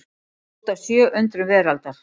Kort af sjö undrum veraldar.